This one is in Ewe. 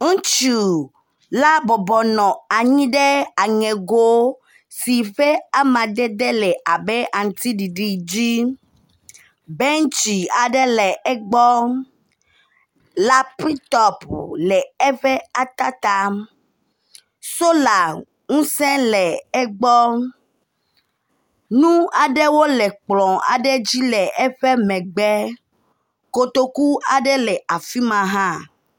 Ŋutsu aɖe nɔ anyi ele kɔmpita ɖe asi le zikpui yi ke le eƒe gɔ la enuwo le edzi abe wɔyaka ene. Sola panelwo hã nɔ zikpuia dzi ziɔ ati ɖe eŋu. Ŋutsu la ƒe axadzi la nudzadzrawo nɔ teƒea.